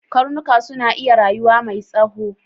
Karnuka suna iya rayuwa mai tsoho.